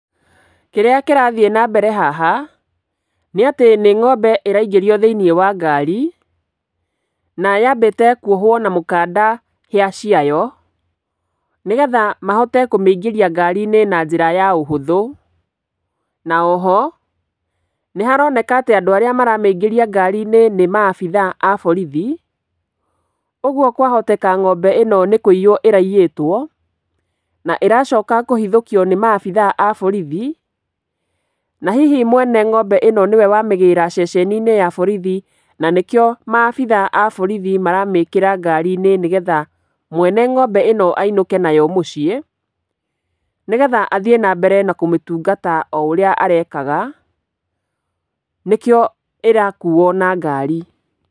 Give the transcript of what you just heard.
Kĩrĩa kĩrathiĩ nambere haha, nĩ atĩ nĩ ng'ombe ĩraingĩrio thĩiniĩ wa ngari, na yambĩte kwohwo na mũkanda hĩa ciayo, nĩgetha mahote kũmĩingĩria ngari-inĩ na njĩra ya ũhũthũ, na o ho nĩharoneka atĩ andũ arĩa maramĩingĩria ngari-inĩ nĩ maabitha a borithi, ũguo kwahoteka ng'ombe ĩno nĩ kũiywo ĩraiyitwo na ĩracoka kũhithũkio nĩ maabitha a borithi. Na hihi mwene ng'ombe ĩno nĩwe wamĩgĩra ceceni-inĩ ya borithi, na nĩkĩo maabitha a borithi maramĩkĩra ngari-inĩ, nĩgetha mwene ng'ombe ĩno ainũke nayo mũciĩ, nĩgetha athiĩ na mbere na kũmĩtungata oũrĩa arekaga, nĩkĩo ĩrakuo na ngari.